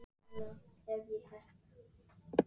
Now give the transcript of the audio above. Ef mig misminnir ekki, var það að kvöldi föstudags.